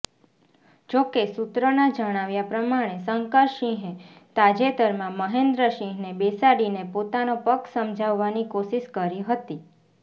જોકે સુત્રોના જણાવ્યા પ્રમાણે શંકરસિંહે તાજેતરમાં મહેન્દ્રસિંહને બેસાડીને પોતાનો પક્ષ સમજાવવાની કોશિશ કરી હતી